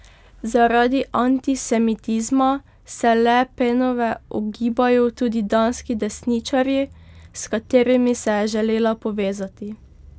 Zaradi antisemitizma se Le Penove ogibajo tudi danski desničarji, s katerimi se je želela povezati.